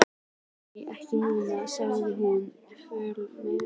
Nei, ekki núna, sagði hún fljótmælt.